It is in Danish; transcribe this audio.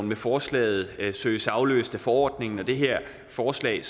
med forslaget søges afløst af forordningen og det her forslag